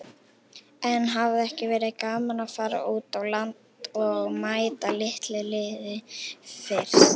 En hefði ekki verið gaman að fara út á land og mæta litlu liði fyrst?